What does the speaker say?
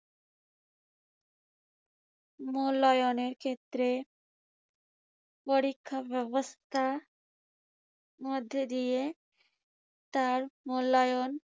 মূল্যায়নের ক্ষেত্রে পরীক্ষা ব্যবস্থা মধ্য দিয়ে তার মূল্যায়ন